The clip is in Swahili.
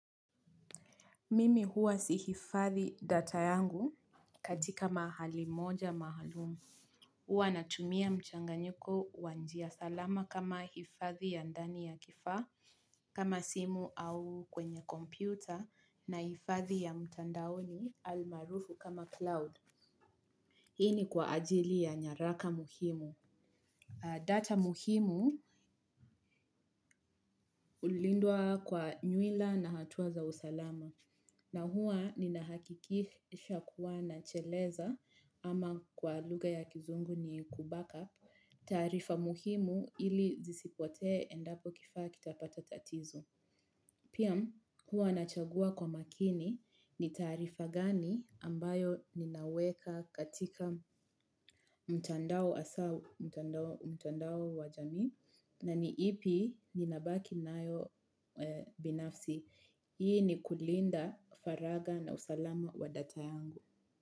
Mimi huwa sihifadhi data yangu katika mahali moja maalumu. Huwa natumia mchanganyiko wa njia salama kama hifadhi ya ndani ya kifaa, kama simu au kwenye kompyuta na hifadhi ya mtandaoni almaarufu kama cloud. Hii ni kwa ajili ya nyaraka muhimu. Data muhimu hulindwa kwa nywila na hatua za usalama. Na hua ninahakikisha kuwa na cheleza ama kwa lugha ya kizungu ni ku back up taarifa muhimu ili zisipotee endapo kifaa kitapata tatizo. Pia, huwa nachagua kwa makini, ni taarifa gani ambayo ninaweka katika mtandao. Hasa mtandao wa jamii na ni ipi ninabaki nayo binafsi. Hii ni kulinda faragha na usalama wa data yangu.